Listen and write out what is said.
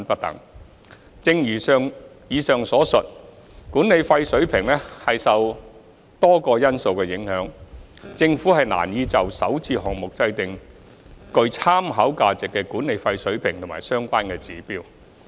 三正如以上所述，管理費水平受多個因素影響，政府難以就首置項目制訂具參考價值的管理費水平及相關指標。